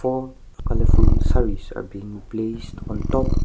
more colourful sarees are beeing placed on the top--